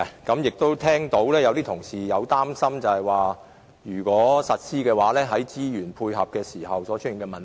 我剛才聽到有同事表示擔心，如果實施這項政策，在資源方面會出現問題。